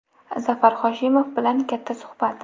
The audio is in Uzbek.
Zafar Hoshimov bilan katta suhbat.